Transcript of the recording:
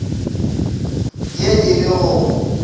ye e le go go